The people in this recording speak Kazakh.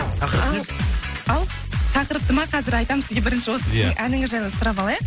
тақырып не еді ау тақырыпты ма қазір айтамын сізге бірінші осы сіздің әніңіз жайлы сұрап алайық